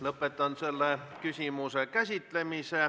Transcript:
Lõpetan selle küsimuse käsitlemise.